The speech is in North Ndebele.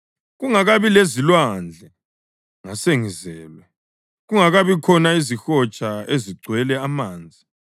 Kungakabi lezilwandle, ngasengizelwe, kungakabi khona izihotsha ezigcwele amanzi;